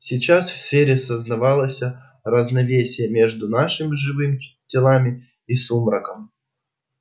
сейчас в сфере создавалось равновесие между нашими живыми телами и сумраком